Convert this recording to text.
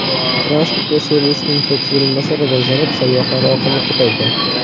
Transport va servis infratuzilmasi rivojlanib, sayyohlar oqimi ko‘paydi.